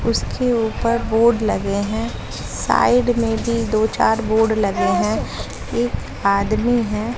उसके ऊपर बोर्ड लगे हैं साइड में भी दो चार बोर्ड लगे हैं एक आदमी है।